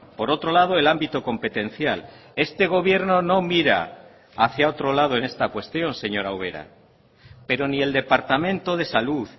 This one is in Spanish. por otro lado el ámbito competencial este gobierno no mira hacia otro lado en esta cuestión señora ubera pero ni el departamento de salud